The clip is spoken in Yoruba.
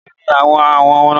Méèló ni àwọn àwọ̀ náà?